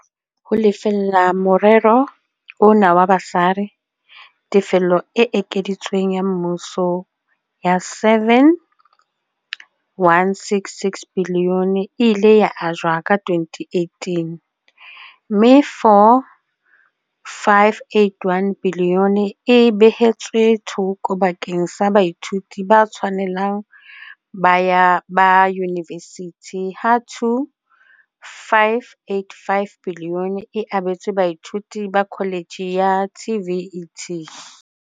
Ho lefella morero ona wa basari, tefelo e ekeditsweng ya mmuso ya R7.166 biliyone e ile ya ajwa ka 2018 - mme R4.581 biliyone e behetswe thoko bakeng sa baithuti ba tshwanelang ba yunivesithi ha R2.585 biliyone e abetswe baithuti ba kholetjhe ya TVET.